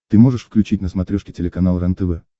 ты можешь включить на смотрешке телеканал рентв